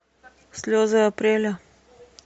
слезы апреля